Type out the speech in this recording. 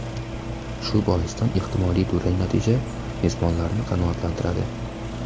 Shu boisdan ehtimoliy durang natija mezbonlarni qanoatlantiradi.